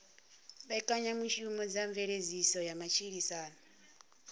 mbekanyamushumo dza mveledziso ya matshilisano